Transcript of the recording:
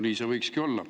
Nii see võikski olla.